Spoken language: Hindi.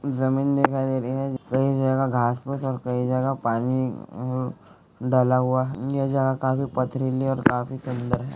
ज़मीन दिखाई दे रही है कई जगह घाँस फूँस और कई जगह पानी डला हुआ-- ये जगह काफी पथरीली और काफी सुन्दर है।